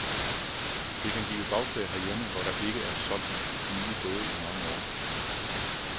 Det kan give bagslag herhjemme, hvor der ikke er solgt nye både i mange år.